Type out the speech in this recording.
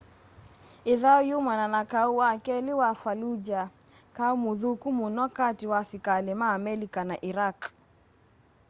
ĩthaũ yumanaa na kaũ wa kelĩ wa fallujah kaũ mũthũku mũno katĩ wa asikalĩ ma amelika na iraq